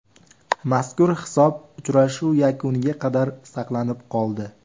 Mazkur hisob uchrashuv yakuniga qadar saqlanib qoldi.